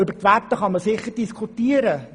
Über die Werte kann sicher diskutiert werden.